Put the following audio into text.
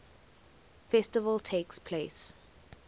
festival takes place